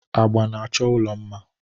Agba na-achọ ụlọ mma.